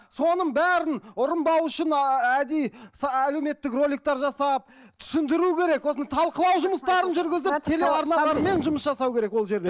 соның бәрін ұрынбау үшін әдейі әлеуметтік роликтер жасап түсіндіру керек осыны талқылау жұмыстарын жүргізіп телеарналармен жұмыс жасау керек ол жерде